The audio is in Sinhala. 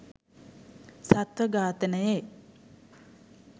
සත්ව ඝාතනයේ